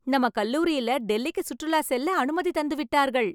நம்ம கல்லூரியில டெல்லிக்குச் சுற்றுலாச் செல்ல அனுமதி தந்து விட்டார்கள்